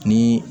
Ni